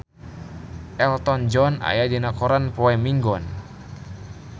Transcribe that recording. Elton John aya dina koran poe Minggon